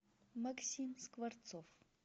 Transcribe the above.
максим скворцов